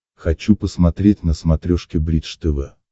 хочу посмотреть на смотрешке бридж тв